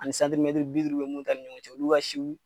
Ani bi duuru bɛ minnu ta ni ɲɔgɔncɛ olu ka siw.